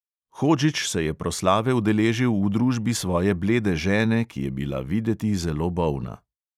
Hodžić se je proslave udeležil v družbi svoje blede žene, ki je bila videti zelo bolna.